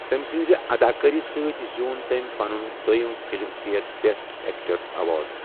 تٔمہِ سٕنٛزِ اَداکٲری سۭتۍ زیوٗن تٔمۍ پنُن دٔویم Filmfare best actor award.